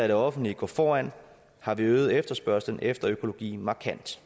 det offentlige gå foran har vi øget efterspørgslen efter økologien markant